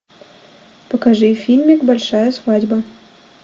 покажи фильмик большая свадьба